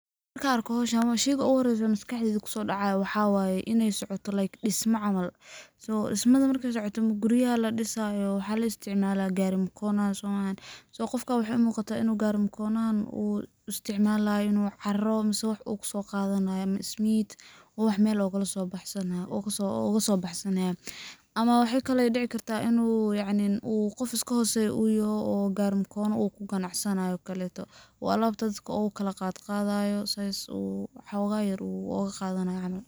Markan arko hawshan, sheyga ogu hore oo maskaxdeeyda kusoo dhacaayo waxa waye inay socoto like dhisma camal so dhismada markay socoto ama guriya ladhisaayo waxa la isticmaala gari mkono soma ahan, qofka waxay umuqataa inu gari mkonohan u isticmaalay inu caaro mise wax u kuso qadanayo ama ismiid u wax Mel ogala soo baxsanaayo ama waxay kale oy dhici kartaa inu yacni u qof iska hooseyo uyaho oo gari mkona uu ku ganacsanaayo okaleto oo alabta dadka ukala qadqaayo suu u woxoga yar oga qadanay camal